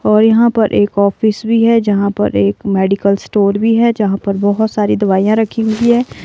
और यहाँ पर एक ऑफिस भी है जहाँ पर एक मेडिकल स्टोर भी है जहाँ पर बहुत सारी दवाइयां रखी हुई है।